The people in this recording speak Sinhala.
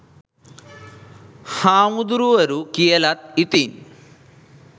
හාමුදුරුවරු කියලත් ඉතින්